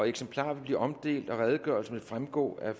eksemplarer vil blive omdelt og redegørelsen vil fremgå af